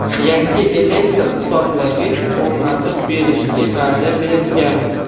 yangi elektr hisoblagich o‘rnatib berishga va’da bergan.